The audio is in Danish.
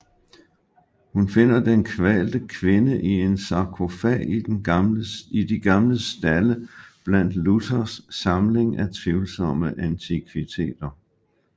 Hun finder den kvalte kvinde i en sarkofag i de gamle stalde blandt Luthers samling af tvivlsomme antikviteter